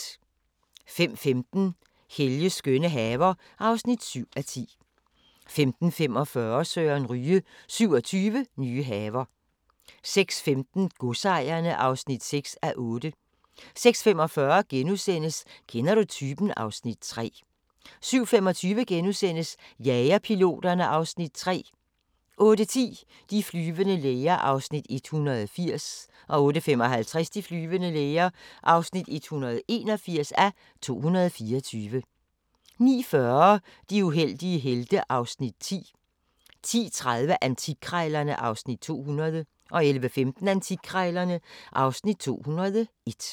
05:15: Helges skønne haver (7:10) 05:45: Søren Ryge – 27 nye haver 06:15: Godsejerne (6:8) 06:45: Kender du typen? (Afs. 3)* 07:25: Jagerpiloterne (Afs. 3)* 08:10: De flyvende læger (180:224) 08:55: De flyvende læger (181:224) 09:40: De uheldige helte (Afs. 10) 10:30: Antikkrejlerne (Afs. 200) 11:15: Antikkrejlerne (Afs. 201)